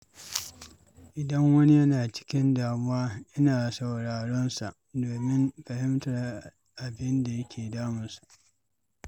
Idan wani yana cikin damuwa, ina sauraron sa domin fahimtar abin da ke damunsa.